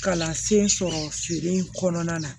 Kalansen sɔrɔ feere in kɔnɔna na